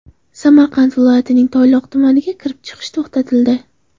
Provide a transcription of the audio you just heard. Samarqand viloyatining Toyloq tumaniga kirish-chiqish to‘xtatildi.